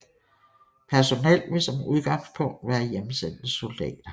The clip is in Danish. Personel vil som udgangspunkt være hjemsendte soldater